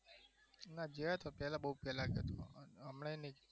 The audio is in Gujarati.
હા ગયા તા પેલા બઉ પેલા